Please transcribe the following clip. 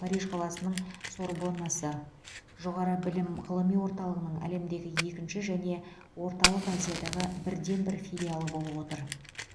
париж қаласының сорбоннасы жоғары білім ғылыми орталығының әлемдегі екінші және орталық азиядағы бірден бір филиалы болып отыр